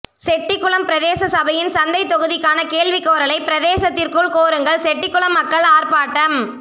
செட்டிகுளம் பிரதேச சபையின் சந்தை தொகுதிக்கான கேள்வி கோரலை பிரதேசத்திற்குள் கோருங்கள் செட்டிகுளம் மக்கள் ஆர்ப்பாட்டம்